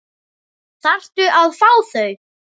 Þarftu að fá þau?